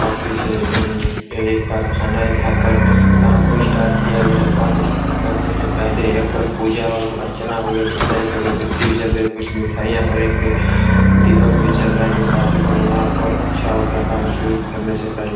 Office है। एएए एक कारखाना है जहाँ पर काम को स्टार्ट किया गया है। काम स्टार्ट करने के पहले यहाँ पर पूजा एवं अर्चना होवे जिसे एक अगरबत्ती भी जल रही जाए। कुछ मिठाईयां और एक दीपक भी जल रहा है जो काफी बढ़ियाँ और अच्छा होता है काम शुरू करने से पहले।